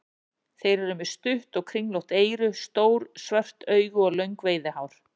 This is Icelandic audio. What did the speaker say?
Þeir eru með stutt og kringlótt eyru, stór svört augu og löng veiðihár.